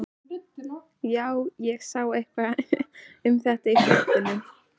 Já, ég sá eitthvað um þetta í fréttunum.